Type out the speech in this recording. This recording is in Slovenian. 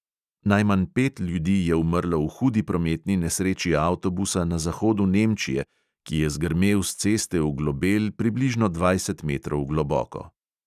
Najmanj pet ljudi je umrlo v hudi prometni nesreči avtobusa na zahodu nemčije, ki je zgrmel s ceste v globel približno dvajset metrov globoko.